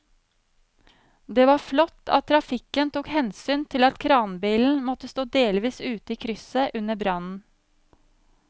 Det var flott at trafikken tok hensyn til at kranbilen måtte stå delvis ute i krysset under brannen.